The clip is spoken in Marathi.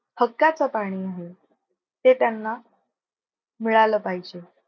हक्कच पाणी आहे ते त्यांना मिळालं पाहिजे.